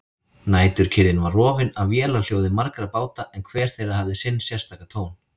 Næturkyrrðin var rofin af vélarhljóði margra báta en hver þeirra hafði sinn sérstaka tón.